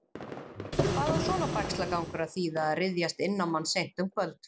Hvað á svona bægslagangur að þýða og ryðjast inn á mann seint um kvöld?